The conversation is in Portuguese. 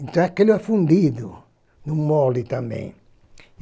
Então é aquele afundido, no mole também.